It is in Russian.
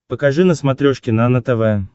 покажи на смотрешке нано тв